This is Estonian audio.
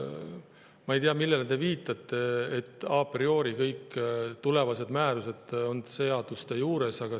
Ma ei tea, millele te viitate, öeldes, et a priori kõik tulevased määrused on seaduste juures.